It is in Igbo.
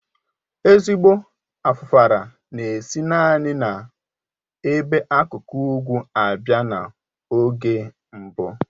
Ezigbo Afufara na-esi naanị n'ebe akụkụ ugwu abị́a na-oge mbụ